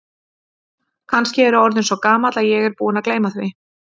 Kannski er ég orðinn svo gamall að ég er búinn að gleyma því.